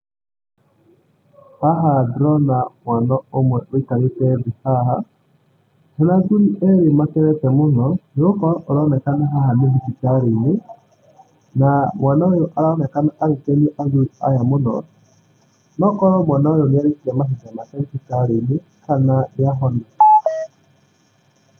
Haha ndĩrona mwana ũmwe wĩikarĩte thĩĩ haha mena athuri erĩ makenete mũno, nĩgũkorwo haronekana haha nĩ thibitarĩ-inĩ. Na mwana ũyũ aronekana agĩkenia athuri aya mũno. Nokorwo mwana ũyũ nĩ arĩkia mahinda make thibitarĩ-inĩ na nĩahona.